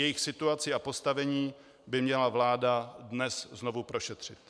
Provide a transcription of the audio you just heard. Jejich situaci a postavení by měla vláda dnes znovu prošetřit.